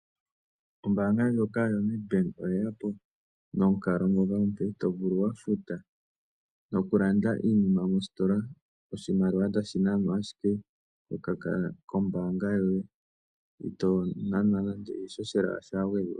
Ombaanga ndjoka yoNedbank oye yapo nomukalo ngoka omuntu to vulu ku futa iinima mositola. Iimaliwa otayi nanwa ashike kombaanga yoye eto futu nando iishoshela ya gwedhwa po.